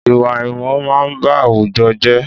Ìwà àìmọ̀ máa n ba àwùjọ jẹ́